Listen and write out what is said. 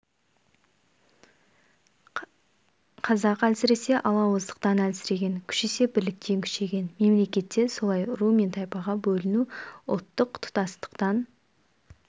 қазақ әлсіресе алауыздықтан әлсіреген күшейсе бірліктен күшейген мемлекет те солай ру мен тайпаға бөліну ұлттық тұтастықтан